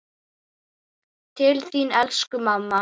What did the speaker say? Til þín elsku mamma.